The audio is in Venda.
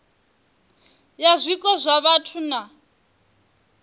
ya zwiko zwa vhathu na